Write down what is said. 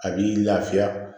A b'i lafiya